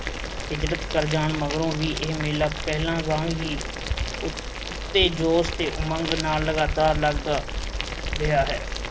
ਹਿਜਰਤ ਕਰ ਜਾਣ ਮਗਰੋਂ ਵੀ ਇਹ ਮੇਲਾ ਪਹਿਲਾਂ ਵਾਂਗ ਹੀ ਪੂਰੇ ਜੋਸ਼ ਤੇ ਉਮੰਗ ਨਾਲ ਲਗਾਤਾਰ ਲੱਗਦਾ ਰਿਹਾ ਹੈ।